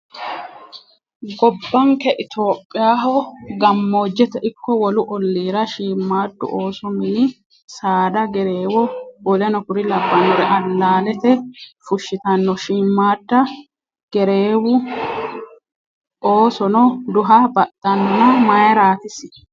Gobbanke itiyophiyaho gammoojete ikko wolu olliira shiimmadu ooso mini saada gereewo w.k.l alaalete fushshitanno shiimmada gereewu oosono duha baxxanona mayiirati isi?